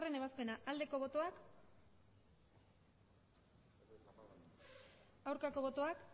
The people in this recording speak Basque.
ebazpena aldeko botoak aurkako botoak